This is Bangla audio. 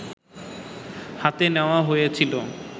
হাতে নেওয়া হয়েছিলো